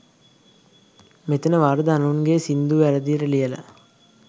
මෙතන වරද අනුන්ගේ සින්දු වැරදියට ලියලා